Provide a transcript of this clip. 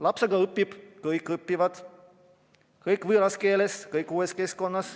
Laps aga õpib, kõik võõras keeles, uues keskkonnas.